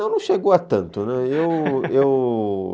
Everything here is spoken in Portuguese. Não, não chegou a tanto, né? eu eu